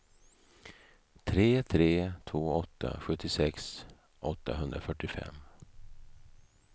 tre tre två åtta sjuttiosex åttahundrafyrtiofem